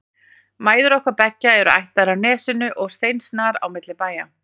Mæður okkar beggja eru ættaðar af Nesinu og steinsnar á milli bæja.